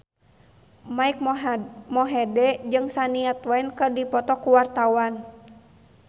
Mike Mohede jeung Shania Twain keur dipoto ku wartawan